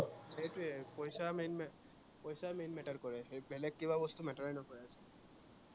সেইটোৱেই পইচা main পইচা main matter কৰে বেলেগ কিবা বস্তু matter এ নকৰে